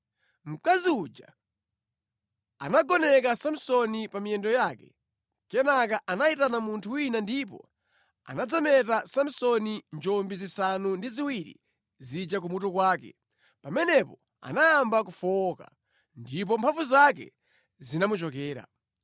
Mkazi uja anagoneka Samsoni pa miyendo yake. Kenaka anayitana munthu wina ndipo anadzameta Samsoni njombi zisanu ndi ziwiri zija kumutu kwake. Pamenepo anayamba kufowoka, ndipo mphamvu zake zinamuchokera.